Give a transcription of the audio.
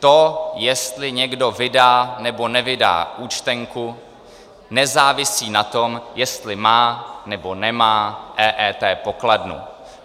To, jestli někdo vydá nebo nevydá účtenku, nezávisí na tom, jestli má nebo nemá EET pokladnu.